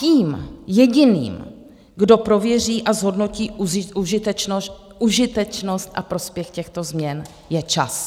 Tím jediným, kdo prověří a zhodnotí užitečnost a prospěch těchto změn, je čas.